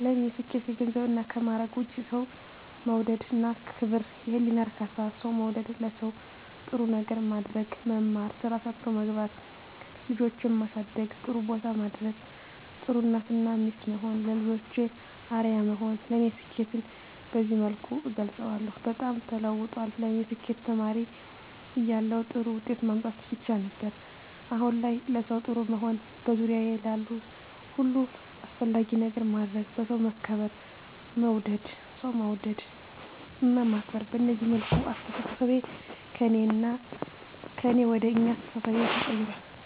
ለኔ ስኬት ከገንዘብና ከማረግ ውጭ፦ የሠው መውደድ እና ክብር፤ የህሊና እርካታ፤ ሠው መውደድ፤ ለሠው ጥሩ ነገር ማድረግ፤ መማር፤ ስራ ሠርቶ መግባት፤ ልጆቼን ማሠደግ ጥሩቦታ ማድረስ፤ ጥሩ እናት እና ሚስት መሆን፤ ለልጆቼ አርያ መሆን ለኔ ስኬትን በዚህ መልኩ እገልፀዋለሁ። በጣም ተለውጧል ለኔ ስኬት ተማሪ እያለሁ ጥሩ ውጤት ማምጣት ብቻ ነበር። አሁን ላይ ለሠው ጥሩ መሆን፤ በዙሪያዬ ላሉ ሁሉ አስፈላጊ ነገር ማድረግ፤ በሠው መከበር መወደድ፤ ሠው መውደድ እና ማክበር፤ በዚህ መልኩ አስተሣሠቤ ከእኔ ወደ አኛ አስተሣሠቤ ተቀይራል።